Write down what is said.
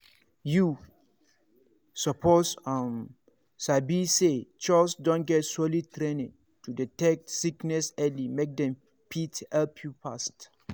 you suppose um sabi say chws don get solid training to detect sickness early make dem fit help you fast.